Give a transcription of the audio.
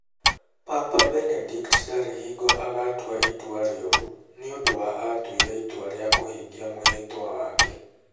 "Papa Benedict ndarĩ hingo agaatua itua rĩũru nĩ ũndũ wa Aatuire itua rĩa kũhingia mwĩhĩtwa wake.